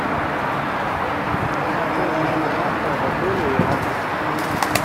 нужна полная информация об отеле и адрес